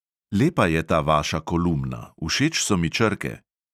Lepa je ta vaša kolumna, všeč so mi črke.